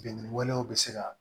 Bingani walew bɛ se ka